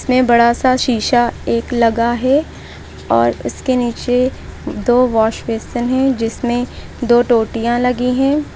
ये बड़ा सा शीशा एक लगा है और उसके नीचे दो वॉश बेसिन है जिसमें दो टोटियां लगी हैं।